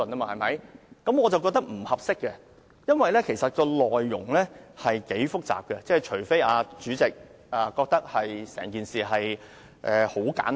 我覺得這做法並不合宜，因為《條例草案》內容頗為複雜，除非主席認為整件事很簡單。